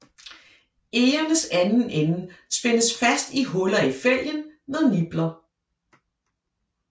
Egernes anden ende spændes fast i huller i fælgen med nipler